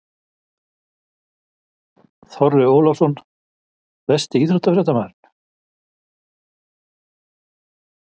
Þorri Ólafsson Besti íþróttafréttamaðurinn?